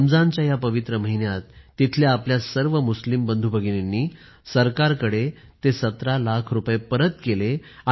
रमजानच्या या पवित्र महिन्यात तिथल्या आपल्या सर्व मुस्लिम बंधूभगिनींनी सरकारकडे ते १७ लाख रुपये परत केले